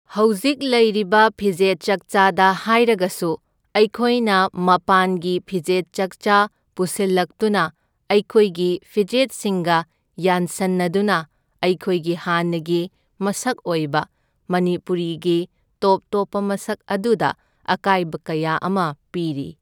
ꯍꯧꯖꯤꯛ ꯂꯩꯔꯤꯕ ꯐꯤꯖꯦꯠ ꯆꯥꯛꯆꯥꯗ ꯍꯥꯏꯔꯒꯁꯨ ꯑꯩꯈꯣꯏꯅ ꯃꯄꯥꯟꯒꯤ ꯐꯤꯖꯦꯠ ꯆꯛꯆꯥ ꯄꯨꯁꯤꯜꯂꯛꯇꯨꯅ ꯑꯩꯈꯣꯏꯒꯤ ꯐꯤꯖꯦꯠꯁꯤꯡꯒ ꯌꯥꯟꯁꯟꯅꯗꯨꯅ ꯑꯩꯈꯣꯏꯒꯤ ꯍꯥꯟꯅꯒꯤ ꯃꯁꯛ ꯑꯣꯏꯕ ꯃꯅꯤꯄꯨꯔꯤꯒꯤ ꯇꯣꯞ ꯇꯣꯞꯄ ꯃꯁꯛ ꯑꯗꯨꯗ ꯑꯀꯥꯏꯕ ꯀꯌꯥ ꯑꯃ ꯄꯤꯔꯤ꯫